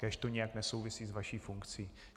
Kéž to nijak nesouvisí s vaší funkcí.